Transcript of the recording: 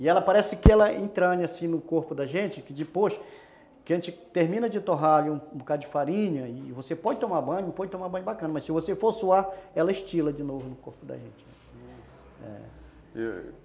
e ela parece que ela entra assim no corpo da gente, que depois que a gente termina de torrar um bocadinho de farinha e você pode tomar banho, pode tomar banho bacana, mas se você for suar ela estila de novo no corpo da gente, isso... é...